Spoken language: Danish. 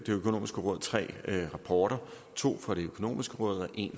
økonomiske råd tre rapporter to fra det økonomiske råd og en